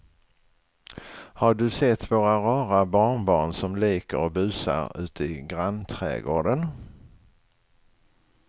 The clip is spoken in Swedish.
Har du sett våra rara barnbarn som leker och busar ute i grannträdgården!